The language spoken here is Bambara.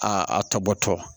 A a tɔ bɔtɔ